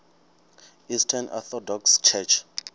eastern orthodox church